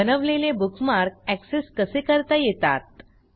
बनवलेले bookmark access कसे करता येतात